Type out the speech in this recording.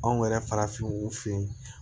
Anw yɛrɛ farafinw fe yen